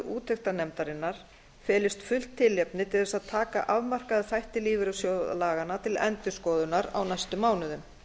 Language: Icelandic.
nefndarinnar felist fullt tilefni til þess að taka afmarkaða þætti lífeyrissjóðalaganna til endurskoðunar á næstu mánuðum